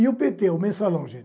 E o PT, o Mensalão, gente?